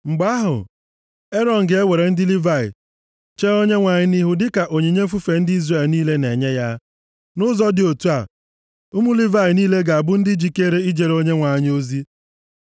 Mgbe ahụ, Erọn ga-ewere ndị Livayị chee Onyenwe anyị nʼihu dịka onyinye mfufe ndị Izrel niile na-enye ya. Nʼụzọ dị otu a, ụmụ Livayị niile ga-abụ ndị jikere ijere Onyenwe anyị ozi.